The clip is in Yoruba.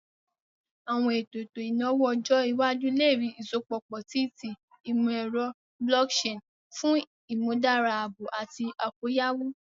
Awọn eto eto inawo ọjọ iwaju le rii isọpọ pọ si ti imọ-ẹrọ blockchain fun imudara aabo ati akoyawo.